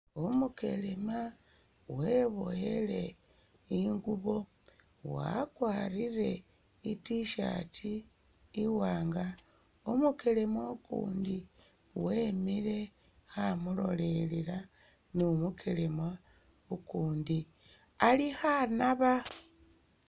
Umukelema weboyele ingubo wakwarire i't-shirt iwaanga, umukelema ukundi wemile kha mulolelela ni umukelema ukundi ali khanaba.